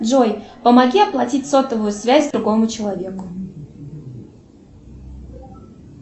джой помоги оплатить сотовую связь другому человеку